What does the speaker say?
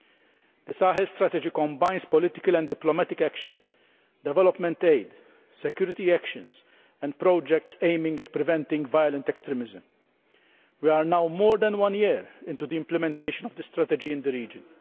The Sahel Strategy combines political and diplomatic action, development aid, security actions and projects aimed at preventing violent extremism. We are now more than one year into the implementation of the strategy in the region.